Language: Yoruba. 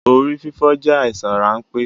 Orí fífọ́ jẹ àìsàn ránpẹ́